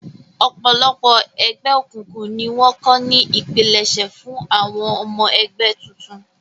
Ọ̀pọ̀lọpọ̀ ẹgbẹ́ òkùnkùn ni wọ́n kọ́ ní ipilẹṣẹ fún àwọn ọmọ ẹgbẹ́ tuntun